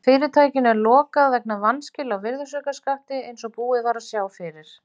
Fyrirtækinu er lokað vegna vanskila á virðisaukaskatti eins og búið var að sjá fyrir.